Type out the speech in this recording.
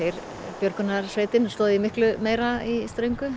björgunarsveitin stóð miklu meira í ströngu